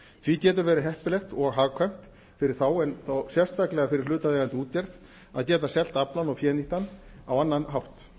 því getur verið heppilegt og hagkvæmt fyrir þá en þó sérstaklega fyrir hlutaðeigandi gera að geta selt aflann eða fénýtt hann á annan hátt